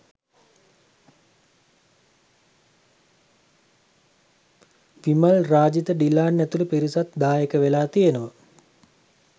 විමල් රාජිත ඩිලාන් ඇතුළු පිරිසත් දායක වෙලා තියෙනවා